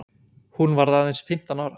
Hún varð aðeins fimmtán ára.